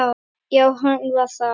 Já, hann var það.